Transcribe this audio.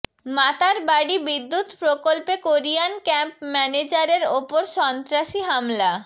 মাতারবাড়ী বিদ্যুৎ প্রকল্পে Korean camp ম্যানেজারের ওপর সন্ত্রাসী হামলা